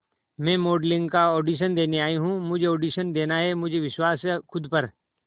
मैं मॉडलिंग का ऑडिशन देने आई हूं मुझे ऑडिशन देना है मुझे विश्वास है खुद पर